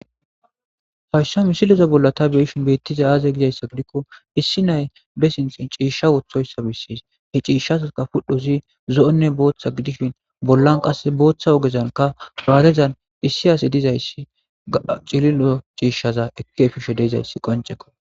fayssa misileza bolla ta beeshin beettiza aaze gizayssa gidikko issi nay be sinxin ciishsha wothoyssa bissis he ciishshazaka pudhozi zo7onne booththa gidishin bollan qas booththa ogezanka baarezan issi ase dizayssi a cililo ciishshaza ekki fishe deizayssi qoncekko